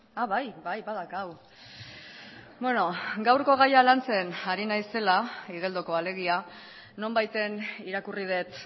a bai bai badaukagu gaurko gaia lantzen ari naizela igeldokoa alegia nonbaiten irakurri dut